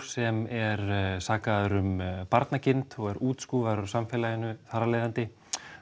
sem er sakaður um barnagirnd og er útskúfaður úr samfélaginu þar af leiðandi